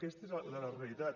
aquesta és la realitat